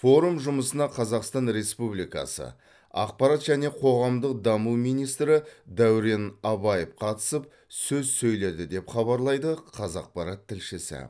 форум жұмысына қазақстан республикасы ақпарат және қоғамдық даму министрі дәурен абаев қатысып сөз сөйледі деп хабарлайды қазақпарат тілшісі